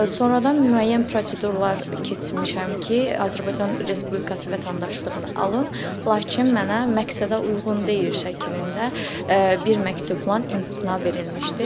Sonradan müəyyən prosedurlar keçmişəm ki, Azərbaycan Respublikası vətəndaşlığını alım, lakin mənə məqsədə uyğun deyil şəklində bir məktubla imtina verilmişdi.